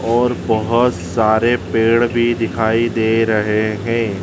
और बहोत सारे पेड़ भी दिखाई दे रहे हैं।